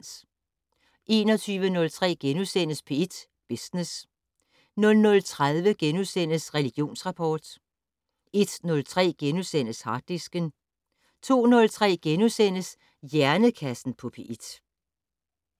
21:03: P1 Business * 00:30: Religionsrapport * 01:03: Harddisken * 02:03: Hjernekassen på P1 *